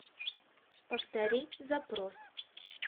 повтори запрос